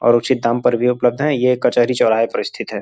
और उचित दाम पर भी उपलब्ध हैं। ये कहचरी चौराहे पर स्थित है।